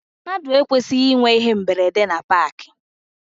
Mmadụ ekwesịghị ịnwe íhé mberede na paakị.